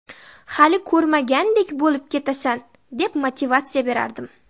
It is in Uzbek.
Hali ko‘rmagandek bo‘lib ketasan’, deb motivatsiya berardim.